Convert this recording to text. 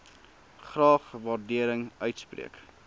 graag waardering uitspreek